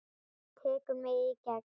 Tekur mig í gegn.